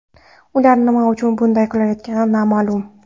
Ular nima uchun bunday qilayotgani noma’lum.